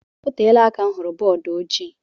Oteela aka m hụrụ bọọdu ojii